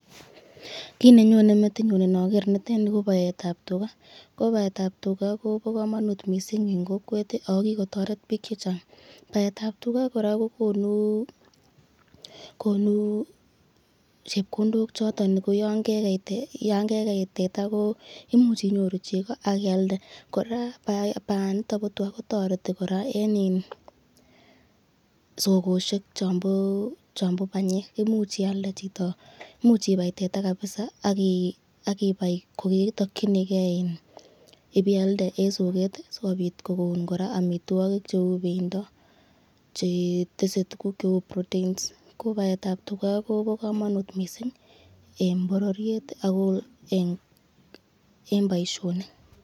Kiit nenyone metinyun indoker nii ko baetab tukaa, ko baetab tukaa kobokomonut mising en kokwet ak ko kikotoret biik chechang, baetab tukaa kora kokonu konu chepkondok choton ko yoon kekei tetaa koimuch inyoru cheko ak ialde, kora bayaniton bo twaa kotoreti kora en sokoshek chombo banyeek, imuch ialde chito, imuch ibai tetaa kabisaa ak ibaii koketokyinike ibeialde en sokeet sikobit kokon kora amitwokik cheuu bendo chetese tukuk cheuu proteins ko baetab tukaa kobokomonut mising en bororiet ak en boishonik.